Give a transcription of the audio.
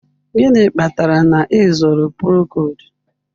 Gịnị kpatara na ị zụrụ Procold?